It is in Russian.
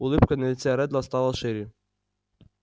улыбка на лице реддла стала шире